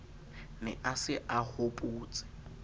ne a se a hobotse